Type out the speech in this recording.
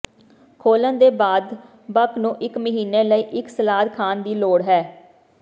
ਖੋਲ੍ਹਣ ਦੇ ਬਾਅਦ ਬਕ ਨੂੰ ਇੱਕ ਮਹੀਨੇ ਲਈ ਇੱਕ ਸਲਾਦ ਖਾਣ ਦੀ ਲੋੜ ਹੈ